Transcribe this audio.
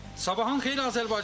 Sabahın xeyir Azərbaycan.